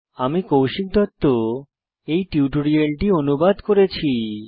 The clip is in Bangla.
আমি কৌশিক দত্ত এই টিউটোরিয়ালটি অনুবাদ করেছি